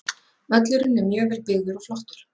Völlurinn er mjög vel byggður og flottur.